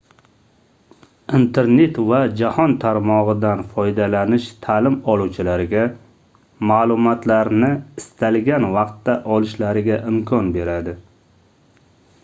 internet va jahon tarmogʻidan foydalanish taʼlim oluvchilarga maʼlumotlarni istalgan vaqtda olishlariga imkon beradi